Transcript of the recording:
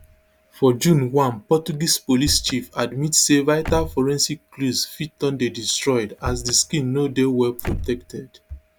forjune one portuguese police chief admit say vital forensic clues fit don dey destroyed as di scene no dey well protected